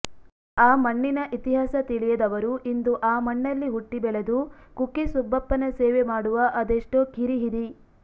ಆಮಣ್ಣಿನ ಇತಿಹಾಸ ತಿಳಿಯದವರು ಇಂದು ಆ ಮಣ್ಣಲ್ಲಿ ಹುಟ್ಟಿ ಬೆಳೆದು ಕುಕ್ಕೆ ಸುಬ್ಬಪ್ಪನ ಸೇವೆ ಮಾಡುವ ಅದೆಷ್ಟೋ ಕಿರಿ ಹಿರಿ